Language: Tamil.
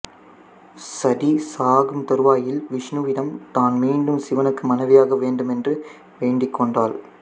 சதி சாகும் தருவாயில் விஷ்ணுவிடம் தான் மீண்டும் சிவனுக்கு மனைவியாக வேண்டுமென்று வேண்டிக்கொண்டாள்